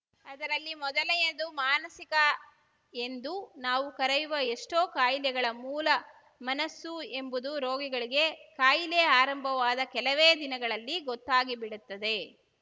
ಅದರಲ್ಲಿ ಮೊದಲೆಯದು ಮಾನಸಿಕ ಎಂದು ನಾವು ಕರೆಯುವ ಎಷ್ಟೋ ಕಾಯಿಲೆಗಳ ಮೂಲ ಮನಸ್ಸು ಎಂಬುದು ರೋಗಿಗಳಿಗೆ ಕಾಯಿಲೆ ಆರಂಭವಾದ ಕೆಲವೇ ದಿನಗಳಲ್ಲಿ ಗೊತ್ತಾಗಿಬಿಡುತ್ತದೆ